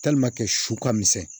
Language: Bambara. su ka misɛn